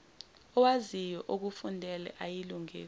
owaziyo okufundele ayilungise